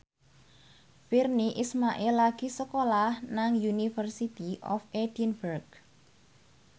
Virnie Ismail lagi sekolah nang University of Edinburgh